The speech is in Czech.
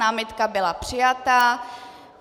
Námitka byla přijata.